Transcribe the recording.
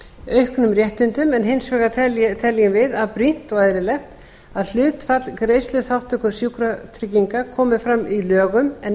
auknum réttindum en hins vegar teljum við brýnt og eðlilegt að hlutfall greiðsluþátttöku sjúkratrygginga komi fram í lögum en